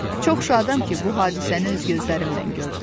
Çox şadam ki, bu hadisəni öz gözlərimlə gördüm.